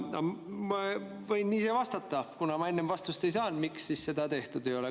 Ma võin ise vastata, kuna ma enne vastust ei saanud, miks seda tehtud ei ole.